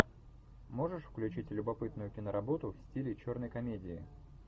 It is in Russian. можешь включить любопытную киноработу в стиле черной комедии